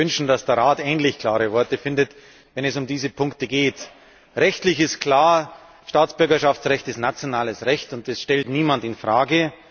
Und man würde sich wünschen, dass der Rat ähnlich klare Worte findet, wenn es um diese Punkte geht. Rechtlich ist klar Staatsbürgerschaftsrecht ist nationales Recht, das stellt niemand in Frage.